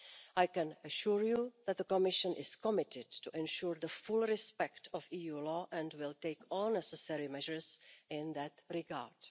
I can assure you that the Commission is committed to ensure the full respect of EU law and will take all necessary measures in that regard.